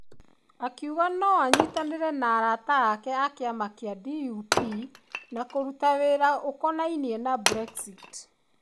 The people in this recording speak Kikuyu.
Akiuga no anyitane na 'arata' ake a kĩama gĩa DUP na 'kũruta wĩra' ũkonainie na Brexit.